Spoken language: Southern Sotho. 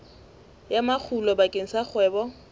ya makgulo bakeng sa kgwebo